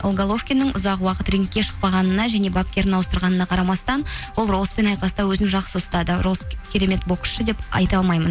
ол головкиннің ұзақ уақыт рингке шықпағанына және бапкерін ауыстырғанына қарамастан ол ролспен айқаста өзін жақсы ұстады ролс керемет боксшы деп айта алмаймын